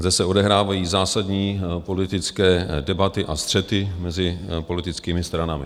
Zde se odehrávají zásadní politické debaty a střety mezi politickými stranami.